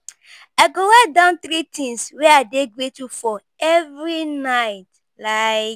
I go write down three things wey I dey grateful for every night. like